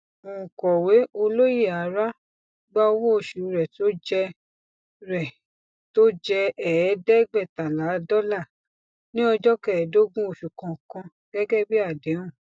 onkọwé olóyèara gba owó òṣù rẹ tó jẹ rẹ tó jẹ ẹẹdẹgbẹẹtalá dọlà ní ọjọ kẹẹẹdógún oṣù kọọkan gẹgẹ bí àdéhùn